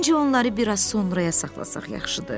Məncə onları biraz sonraya saxlasaq yaxşıdır.